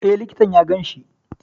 E, likitan ya ganshi.